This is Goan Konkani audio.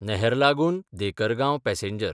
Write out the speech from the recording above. नहरलागून–देकरगांव पॅसेंजर